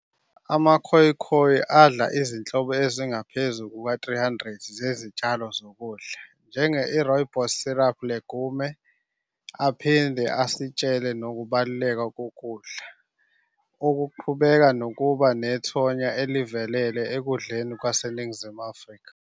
AmaKhoikhoi adla izinhlobo ezingaphezu kuka-300 zezitshalo zokudla, njenge-i-rooibos shrub legume, aphinde asitshele nokubaluleka kokudla, okuqhubeka nokuba nethonya elivelele ekudleni kwase Ningizimu Afrika.